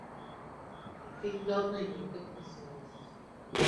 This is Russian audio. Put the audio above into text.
фильм данелия как назывался